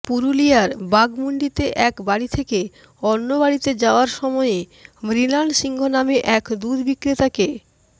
পুরুলিয়ার বাঘমুণ্ডিতে এক বাড়ি থেকে অন্য বাড়িতে যাওয়ার সময়ে মৃণাল সিংহ নামে এক দুধ বিক্রেতাকে